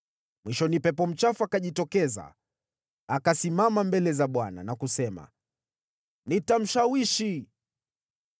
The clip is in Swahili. Mwishoni, pepo mchafu akajitokeza, akasimama mbele za Bwana na kusema, ‘Nitamshawishi.’